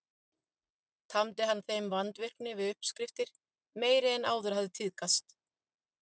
Tamdi hann þeim vandvirkni við uppskriftir meiri en áður hafði tíðkast.